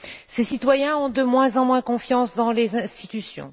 Ses citoyens ont de moins en moins confiance dans les institutions.